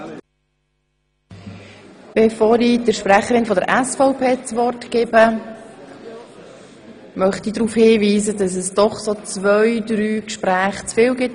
Bevor ich der Sprecherin der SVP-Fraktion das Wort gebe, möchte ich darauf hinweisen, dass es im Raum doch zwei, drei Gespräche zu viel gibt.